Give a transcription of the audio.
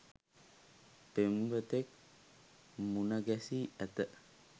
පෙම්වතෙක් මුණ ගැසී ඇත